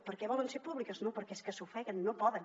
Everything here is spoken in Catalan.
perquè volen ser públiques no perquè és que s’ofeguen no poden